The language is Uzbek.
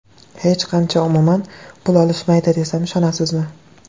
Hech qancha, umuman, pul olishmaydi, desam ishonasizmi?